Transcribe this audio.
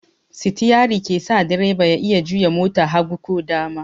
Sitiyari ke sa direba ya iya juya mota hagu ko dama.